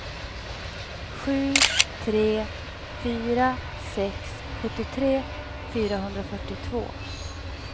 sju tre fyra sex sjuttiotre fyrahundrafyrtiotvå